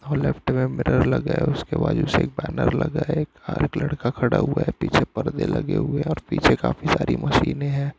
और लेफ्ट में बैनर लगा हुआ है उसके बाद एक बैनर और एक लड़का खड़ा हुआ है और पीछे पर्दे लगे हुए है और पीछे काफी सारी मशीने है|